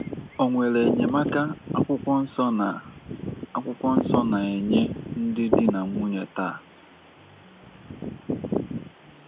O nwere enyemaka akwukwọnso na - akwukwọnso na - enye ndị di na nwunye taa?